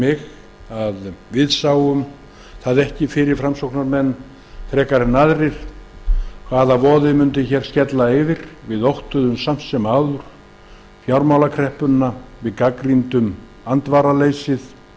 við framsóknarmenn sáum það ekki fyrir frekar en aðrir hvaða voði mundi hér skella yfir við óttuðumst samt sem áður fjármálakreppuna við gagnrýndum andvaraleysið